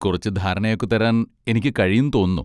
കുറച്ച് ധാരണയൊക്കെ തരാൻ എനിക്ക് കഴിയും തോന്നുന്നു.